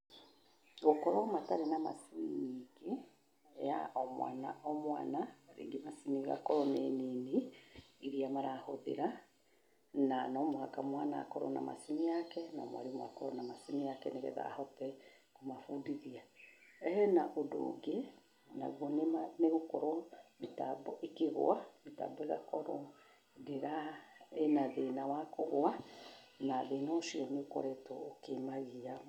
Gũkorwo matarĩ na macini nyingĩ ya o mwana o mwana, rĩngĩ macini igakorwo nĩ nini irĩa marahũthĩra, na no mũhaka mwana akorwo na macini yake na mwarimũ akorwo na macini yake nĩgetha ahote kũmabundithia. Hena ũndũ ũngĩ, naguo nĩ gũkorwo mĩtambo ĩkĩgũa, mĩtambo ĩgakorwo ndĩra, ĩna thĩna wa kũgũa, na thĩna ũcio nĩ ũkoretwo ũkĩmagia.